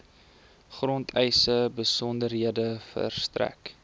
grondeise besonderhede verstrek